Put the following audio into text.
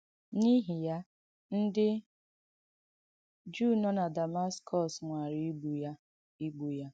N’īhị yà, ndị Jùụ nọ na Dàmàskòs nwàrà ìgbụ́ ya. ìgbụ́ ya.